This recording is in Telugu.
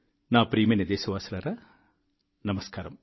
నా ప్రియమైన దేశవాసులారా నమస్కారం